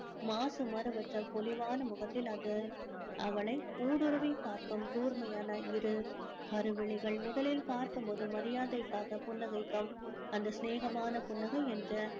மாசு மருவற்ற பொலிவான முகத்தில் அது அவளை ஊடுருவி பார்க்கும் கூர்மையான இரு கருவிழிகள் முதலில் பார்க்கும்போது மரியாதைக்காக புன்னகைக்கும் அந்த சினேகமான புன்னகை என்ற